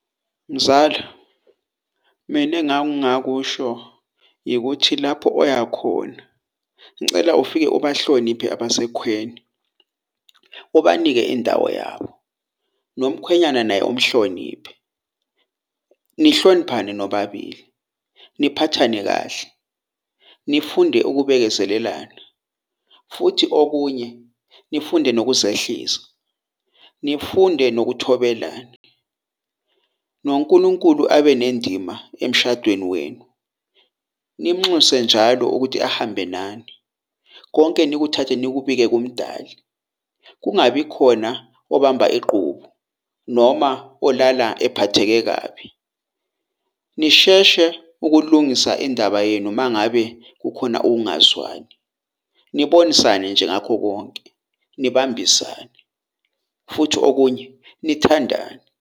Mzala mina engangakusho ikuthi lapho oyakhona ngicela ufike ubahloniphe abasekhweni ubanike indawo yabo, nomkhwenyana naye umhloniphe, nihloniphane nobabili, niphathane kahle, nifunde ukubekezelelana futhi okunye, nifunde nokuzehlisa, nifunde nokuthobelana . NoNkulunkulu abenendima emshadweni wenu, nim'nxuse njalo ukuthi ahambe nani. Konke nikuthathe nikubeke kuMdali. Kungabi khona obamba ingqubu noma olala ephatheke kabi. Nisheshe ukulungisa indaba yenu mangabe kukhona ukungazwani, nibonisane nje ngakho konke nibambisane futhi okunye nithandane.